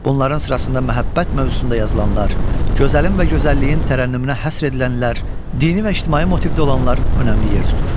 Bunların sırasında məhəbbət mövzusunda yazılanlar, gözəlin və gözəlliyin tərənnümünə həsr edilənlər, dini və ictimai motivdə olanlar önəmli yer tutur.